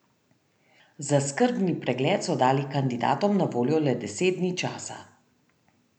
Za skrbni pregled so dali kandidatom na voljo le deset dni časa.